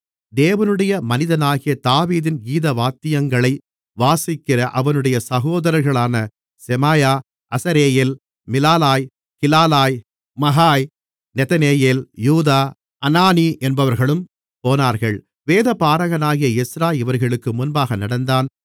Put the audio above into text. தேவனுடைய மனிதனாகிய தாவீதின் கீதவாத்தியங்களை வாசிக்கிற அவனுடைய சகோதரர்களான செமாயா அசரெயேல் மிலாலாய் கிலாலாய் மகாய் நெதனெயேல் யூதா அனானி என்பவர்களும் போனார்கள் வேதபாரகனாகிய எஸ்றா இவர்களுக்கு முன்பாக நடந்தான்